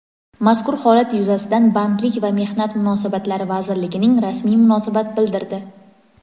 Mazkur holat yuzasidan Bandlik va mehnat munosabatlari vazirligining rasmiy munosabat bildirdi.